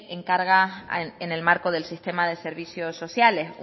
encarga en el marco del sistema de servicios sociales